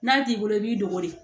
N'a t'i bolo i b'i dogo de